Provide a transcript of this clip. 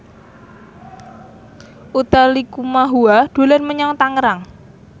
Utha Likumahua dolan menyang Tangerang